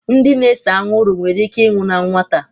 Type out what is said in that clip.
ndị na-ese anwụrụ nwere ike ịnwụ na nwata